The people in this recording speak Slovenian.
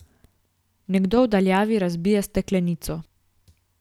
Nekdo v daljavi razbije steklenico.